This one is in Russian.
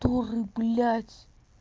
дуры блядь